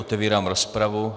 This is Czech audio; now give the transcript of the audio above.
Otevírám rozpravu.